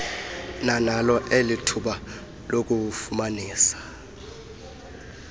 nanalo elithuba lokufumanisa